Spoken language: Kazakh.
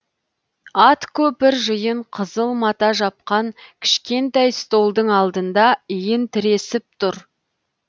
ат көпір жиын қызыл мата жапқан кішкентай столдың алдында иін тіресіп тұр